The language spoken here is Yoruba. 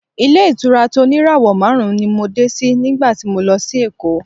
Ilé-ìtura tó ní ìràwọ̀ márùn-ún ni mo dé sí nígbà tí mo lọ sí Èkó.